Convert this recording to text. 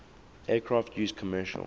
aircraft used commercial